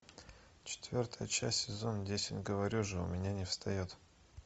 четвертая часть сезона десять говорю же у меня не встает